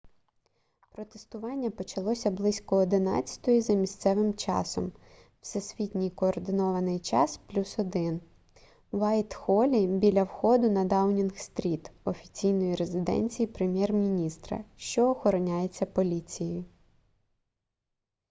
протестування почалося близько 11:00 за місцевим часом всесвітній координований час + 1 в уайтхолі біля входу на даунінг-стріт офіційної резиденції прем'єр-міністра що охороняється поліцією